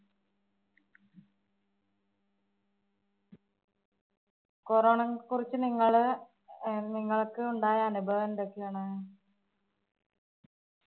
corona കുറിച്ച് നിങ്ങള്~ നിങ്ങള്‍ക്കുണ്ടായ അനുഭവം എന്തൊക്യാണ്?